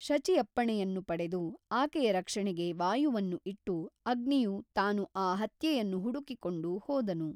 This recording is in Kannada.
ಶಚಿಯಪ್ಪಣೆಯನ್ನು ಪಡೆದು ಆಕೆಯ ರಕ್ಷಣೆಗೆ ವಾಯುವನ್ನು ಇಟ್ಟು ಅಗ್ನಿಯು ತಾನು ಆ ಹತ್ಯೆಯನ್ನು ಹುಡುಕಿಕೊಂಡು ಹೋದನು.